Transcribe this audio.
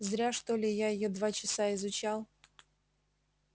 зря что ли я её два часа изучал